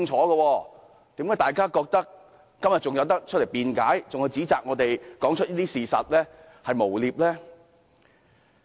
為何大家仍然覺得，今天可以出來辯解並指責我們說出事實是一種誣衊行為？